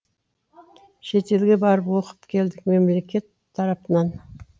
шетелге барып оқып келдік мемлекет тарапынан